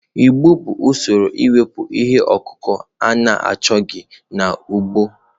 Igbo bụ usoro iwepụ ihe ọkụkụ na-achọghị n'ugbo.